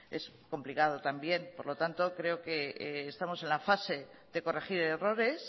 es complicado también por lo tanto creo que estamos en la fase de corregir errores